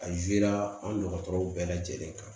A an dɔgɔtɔrɔw bɛɛ lajɛlen kan